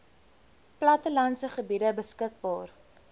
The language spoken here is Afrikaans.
plattelandse gebiede beskikbaar